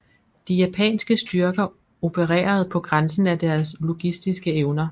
De japanske styrker opererede på grænsen af deres logistiske evner